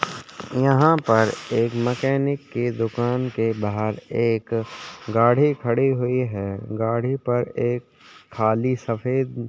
यहाँ पर एक मैकेनिक की दूकान के बाहर एक गाड़ी खड़ी हुई है गाड़ी पर एक खाली सफ़ेद --